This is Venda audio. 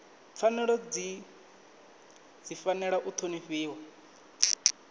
pfanelo dzi fanela u ṱhonifhiwa